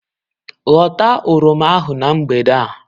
Hota oroma ahụ na mgbede a.